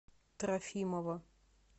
трофимова